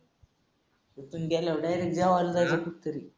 इथून गेल्यावर direct जेवायला जायचं कुठेतरी.